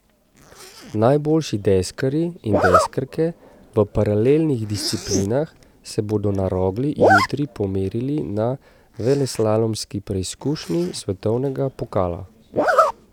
Najboljši deskarji in deskarke v paralelnih disciplinah se bodo na Rogli jutri pomerili na veleslalomski preizkušnji svetovnega pokala.